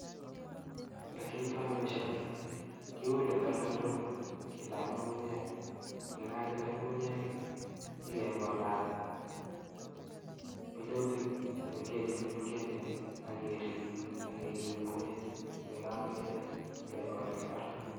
Yekiotoi boishoni kiule takalkalok kilach ng'ung'unyek, yekakinde ng'ung'unyek inyokekolat minutik chemeng'echen chemeng'echen ak kerib koet yekakoet kekol en imbar.